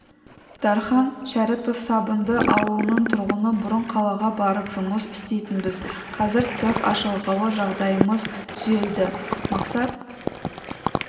дархан шәріпов сабынды ауылының тұрғыны бұрын қалаға барып жұмыс істейтінбіз қазір цех ашылғалы жағдайымыз түзелді мақсат